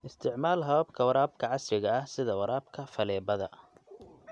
Isticmaal hababka waraabka casriga ah sida waraabka faleebada.